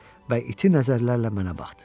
Və iti nəzərlərlə mənə baxdı.